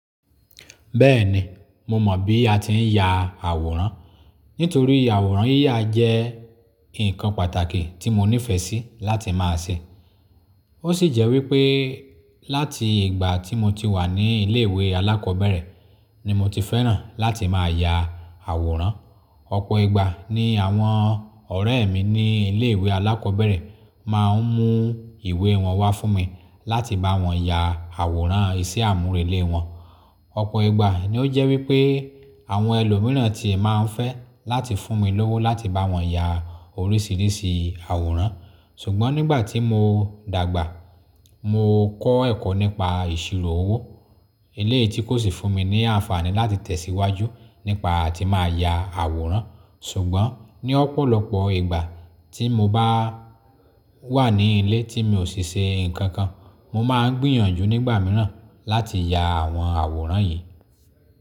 Bẹ́ẹ̀ni, mo mọ̀ bí a ti ń ya àwòrán, nítorí àwòrán yíya jẹ́ ǹkan pàtàkì tí mo nífẹ̀ẹ́ sí láti má a ṣe. Ó sì jẹ́ wípẹ́ láti ìgbà tí mo ti wà ní ilé ìwé alákọ̀ọ́bẹ̀rẹ̀ ni mo ti fẹ́ràn láti má a ya àwòrán. Ọ̀pọ̀ ìgbà ni àwọn ọ̀rẹ́ mi ní ilé ìwé alákọ̀ọ́bẹ̀rẹ̀ máa ń mú ìwé wọn wá fún mi láti bá wọn ya àwòrán iṣẹ́ àmúrelé wọn. Ọ̀pọ̀ ìgbà ni ó jẹ́ wípẹ́ àwọn ẹlòmíràn ti e máa ń fẹ́ láti fún mi lówó láti bá wọn ya oríṣìíríṣìí àwòrán. Ṣùgbọ́n nígbà tí mo dàgbà, mo kọ́ ẹ̀kọ́ nípa ìṣirò owó. Eleyìí tí kò sì fún mi ní àǹfààní láti tẹ̀síwájú nípa tí màá ya àwòrán. Ṣùgbọ́n ní ọ̀pọ̀lọpọ̀ ìgbà tí mo bá wà ní ilé tí mi ò ṣe nǹkan kan, mo máa ń gbìyànjú nígbà mìíràn láti ya àwọn àwòrán yìí.